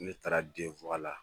Ne taara den la.